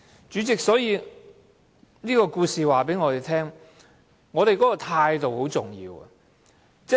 主席，這故事告訴我們，態度很重要。